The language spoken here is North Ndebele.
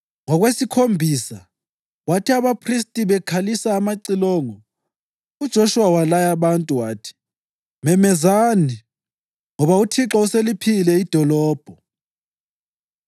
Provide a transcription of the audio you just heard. Ngokwesikhombisa, kwathi abaphristi bekhalisa amacilongo, uJoshuwa walaya abantu wathi, “Memezani! Ngoba uThixo useliphile idolobho.